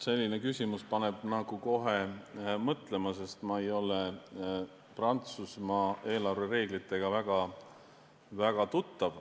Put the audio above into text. Selline küsimus paneb kohe mõtlema, sest ma ei ole Prantsusmaa eelarvereeglitega väga tuttav.